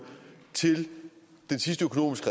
til den sidste økonomisk